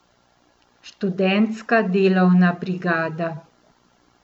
Študentska delovna brigada.